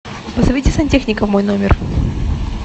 позовите сантехника в мой номер